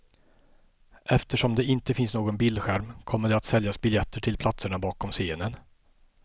Eftersom det inte finns någon bildskärm kommer det att säljas biljetter till platserna bakom scenen.